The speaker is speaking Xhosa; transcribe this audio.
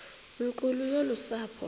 nkulu yolu sapho